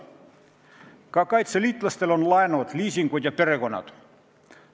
Ka kaitseliitlastel on laenud, liisingud ja perekonnad.